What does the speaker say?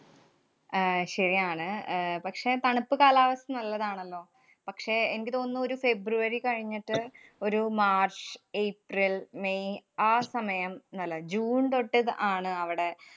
ആഹ് ശരിയാണ്. അഹ് പക്ഷേ, തണുപ്പ് കാലാവസ്ഥ നല്ലതാണല്ലോ. പക്ഷേ, എനിക്ക് തോന്നുന്നു ഒരു ഫെബ്രുവരി കഴിഞ്ഞിട്ട് ഒരു മാര്‍ച്ച് ഏപ്രില്‍ മേയ് ആ സമയം നല്ലതാ. ജൂണ്‍ തൊട്ട് ദ~ ആണവിടെ.